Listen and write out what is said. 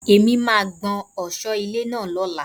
Èmi máà ń kún ọ̀sọ́ ilé náà lóla.